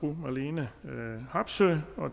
marlene harpsøe